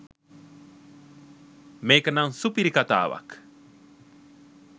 මේක නම් සුපිරි කතාවක්